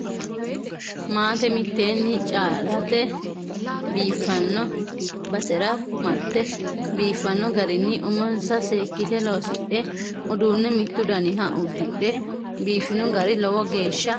Maate minite callate biifano basera marte biifano garinni umonsa seekkite loosidhe uduune mitu daniha udidhe biifino gari lowo geeshsha halchishinoe.